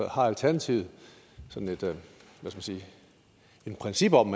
har alternativet sådan et princip om